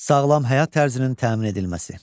Sağlam həyat tərzinin təmin edilməsi.